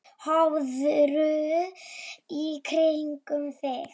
Horfðu í kringum þig!